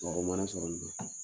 Mɔgɔ mana sɔrɔ nunna